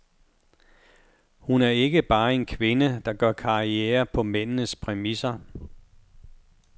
Hun er ikke bare en kvinde, der gør karriere på mændenes præmisser.